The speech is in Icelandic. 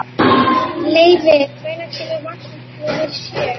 Leivi, hvenær kemur vagn númer sjö?